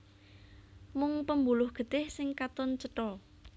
Mung pembuluh getih sing katon cetha